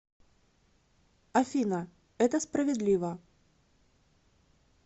афина это справедливо